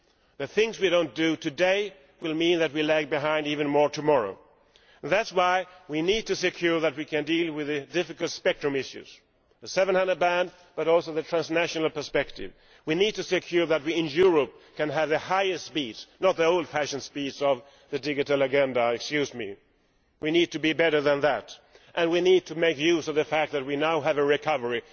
The things we do not do today will mean that we lag behind even more tomorrow. That is why we need to ensure that we can deal with difficult spectrum issues, the 700 MHz band, and the transnational perspective. We need to ensure that we in Europe can have the highest speeds, not the old fashioned speeds of the digital agenda. We need to be better than that, and we need to make use of the fact that we now have a recovery.